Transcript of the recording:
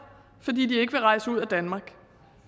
fordi de ikke vil rejse ud af danmark